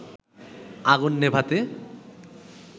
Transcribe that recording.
আগুন নেভাতে